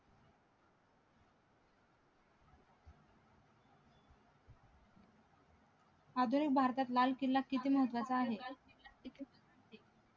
आधुनिक भारतात लाल किल्ला किती महत्वाचा आहे